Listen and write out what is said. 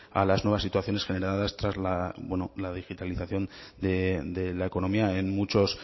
a las nuevas situaciones generadas tras la bueno la digitalización de la economía en muchos